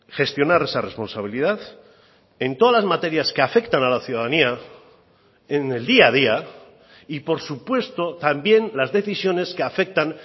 gestionar esa responsabilidad en todas las materias que afectan a la ciudadanía en el día a día y por supuesto también las decisiones que afectan